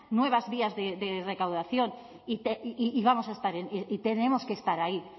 nuevas vías de recaudación y vamos a estar y tenemos que estar ahí